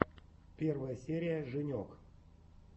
первая серия женек